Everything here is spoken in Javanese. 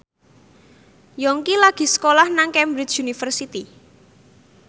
Yongki lagi sekolah nang Cambridge University